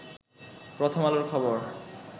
প্রথম আলোর খবর